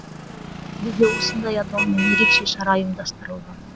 ақтөбеде осындай атаумен ерекше шара ұйымдастырылды